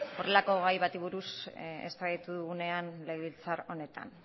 horrelako gai bati buruz eztabaidatu dugunean legebiltzar honetan